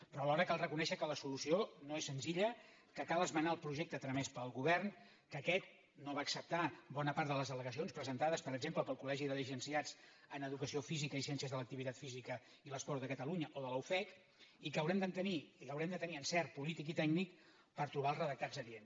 però alhora cal reconèixer que la solució no és senzilla que cal esmenar el projecte tramès pel govern que aquest no va acceptar bona part de les al·legacions presenta·des per exemple pel col·ció física i ciències de l’activitat física i l’esport de catalunya o de la ufec i que haurem de tenir encert polític i tècnic per trobar els redactats adients